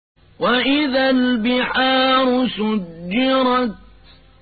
وَإِذَا الْبِحَارُ سُجِّرَتْ